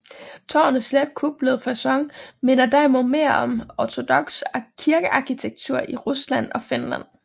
Tårnets let kuplede facon minder derimod mere om ortodoks kirkearkitektur i Rusland og Finland